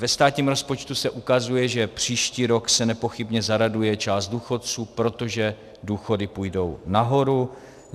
Ve státním rozpočtu se ukazuje, že příští rok se nepochybně zaraduje část důchodců, protože důchody půjdou nahoru.